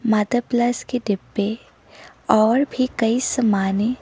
mother plus के डीब्बे और भी कई समाने --